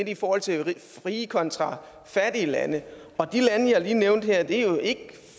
i forhold til rige kontra fattige lande og de lande jeg lige nævnte her er jo ikke